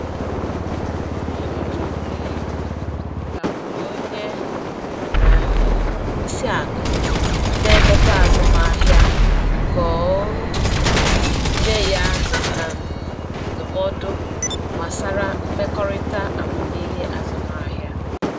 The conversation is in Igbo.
Onye ọchụnta ego gakwuru onye um isi akụ na-emepe azụmaahịa ka o nye ya um ndụmọdụ gbasara mmekọrịta amamihe azụmahịa.